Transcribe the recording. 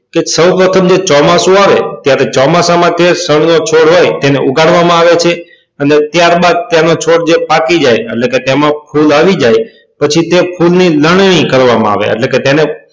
કે ચો વખતે જે ચોમાસું આવે ત્યારે ચોમાસા માટે ફળનો છોડ હોય એને ઉગાડવામાં આવે છે અને ત્યારબાદ તેનો છોડ જે પાકી જાય એટલે કે તેમાં ફૂલ આવી જાય પછી જે તે ફૂલ લણણી કરવામાં આવે એટલે કે તેને